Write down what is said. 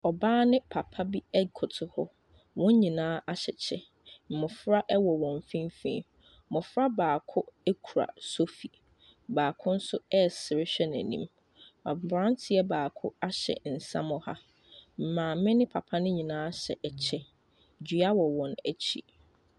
Ɔbaa ne papa bi ɛkoto hɔ. Wɔnyinaa ahyɛ kyɛ. Mbɔfra ɛwɔ wɔn fimfini. Mbɔfra baako ekura sofi, baako so ɛsere hwɛ n'enim. Aberanteɛ baako ahyɛ nsamɔha. Maame be papa nyiinaa hyɛ ɛkyɛ. Dua wo wɔn ekyi.